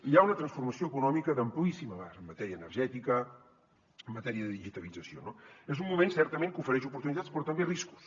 hi ha una transformació econòmica d’amplíssim abast en matèria energètica en matèria de digitalització no és un moment certament que ofereix oportunitats però també riscos